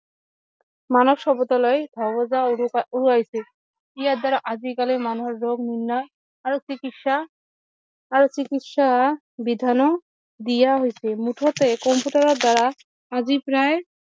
মানৱ সভ্যতালৈ উৰুৱাইচছে ইয়াৰ দ্বাৰা আজি কালি মানুহৰ ৰোগ নিৰ্ণয় আৰু চিকিৎসা আৰু চিকিৎসা বিধানো দিয়া হৈছে মুঠতে কম্পিউটাৰৰ দ্বাৰা আজি প্ৰায়